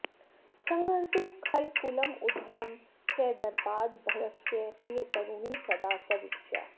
संहर्तुं खलकुलमुद्धतं च दर्पाद् भर्गस्य प्रियतरुणी सदा सदीक्षा